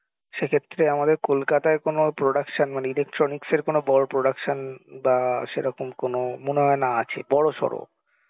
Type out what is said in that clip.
সেক্ষেত্রে আমাদের কোলকাতায় কোনো production মানে electronics এর কোনো বড় production বা সেরকম কোনো মনেহয় না আছে বড়সড়